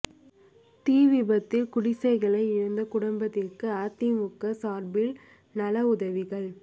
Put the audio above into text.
தீ விபத்தில் குடிசைகளை இழந்த குடும்பத்துக்கு அதிமுக சாா்பில் நல உதவிகள்